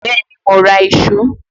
Bẹ́ẹ̀ni, mo ra ìṣó